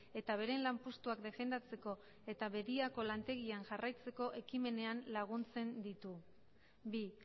eta beren lanpostuak defendatzeko eta bedia lantegian jarraitzeko ekimenean laguntzen ditu bi